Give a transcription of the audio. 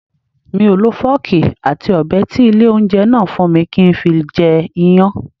Mi ò lo fọ́ọ̀kì àti Ọ̀bẹ tí ilé ìjẹun náà fún mi kí n fi jẹ Iyán.